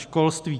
Školství.